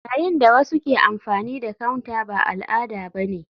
Yayin da wasu ke amfani da counter ba al'ada ba ne.